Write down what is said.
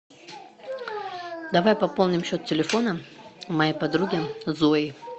давай пополним счет телефона моей подруги зои